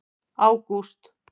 ágúst